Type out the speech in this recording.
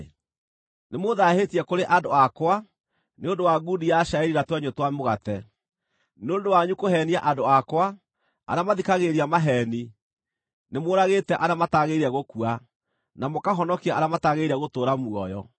Nĩmũũthaahĩtie kũrĩ andũ akwa nĩ ũndũ wa ngundi ya cairi na twenyũ twa mũgate. Nĩ ũndũ wanyu kũheenia andũ akwa, arĩa mathikagĩrĩria maheeni, nĩmũũragĩte arĩa mataagĩrĩire gũkua, na mũkahonokia arĩa mataagĩrĩire gũtũũra muoyo.